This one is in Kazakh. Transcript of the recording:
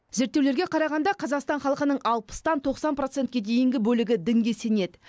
зерттеулерге қарағанда қазақстан халқының алпыстан тоқсан процентке дейінгі бөлігі дінге сенеді